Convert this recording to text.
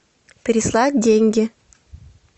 переслать деньги